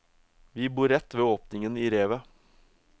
Vi bor rett ved åpningen i revet.